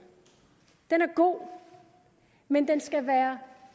den er god men den skal være